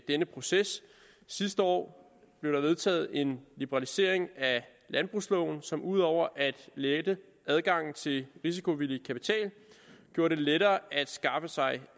denne proces sidste år blev der vedtaget en liberalisering af landbrugsloven som ud over at lette adgangen til risikovillig kapital gjorde det lettere at skaffe sig